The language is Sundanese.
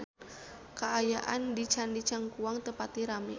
Kaayaan di Candi Cangkuang teu pati rame